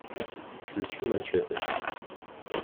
включи мачетэ